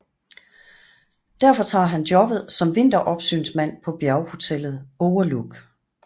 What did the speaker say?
Derfor tager han jobbet som vinteropsynsmand på bjerghotellet Overlook